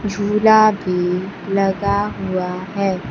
झूला भी लगा हुआ है।